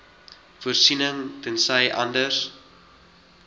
voorsiening tensy anders